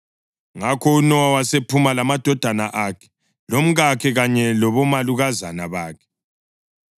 Ngakho uNowa wasephuma lamadodana akhe, lomkakhe kanye labomalukazana bakhe.